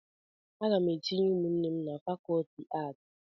Aga m etinye ụmụnne m na fakọlti aatị